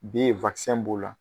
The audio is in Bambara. B b'o la